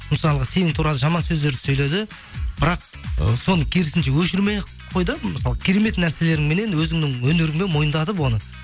мысалға сен туралы жаман сөздер сөйледі бірақ ы соны керісінше өшірмей ақ қой да мысалы керемет нәрселеріңменен өзіңнің өнеріңмен мойындатып оны